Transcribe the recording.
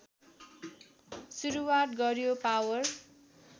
सुरुवात गर्‍यो पावर